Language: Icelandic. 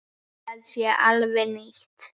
Það sé alveg nýtt.